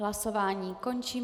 Hlasováním končím.